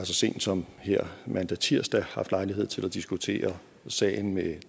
så sent som her mandag tirsdag haft lejlighed til at diskutere sagen med